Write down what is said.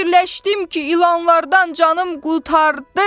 Fikirləşdim ki, ilanlardan canım qurtardı.